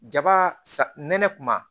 Jaba sa nɛnɛ kuma